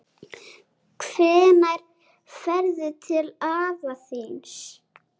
Hvenær ferðu til afa þíns?